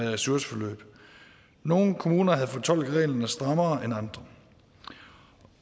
i ressourceforløb nogle kommuner havde fortolket reglerne strammere end andre